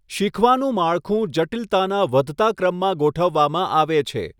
શીખવાનું માળખું જટિલતાના વધતા ક્રમમાં ગોઠવવામાં આવે છે.